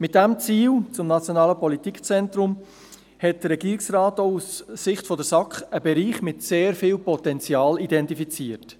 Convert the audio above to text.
Mit diesem Ziel betreffend das Politikzentrum hat der Regierungsrat auch aus Sicht der SAK einen Bereich mit sehr viel Potenzial identifiziert.